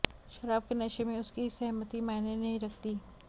शराब के नशे में उसकी सहमति मायने नहीं रखती